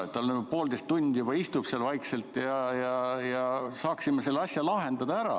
Ta on poolteist tundi juba istunud vaikselt ja saaksime selle asja lahendada ära.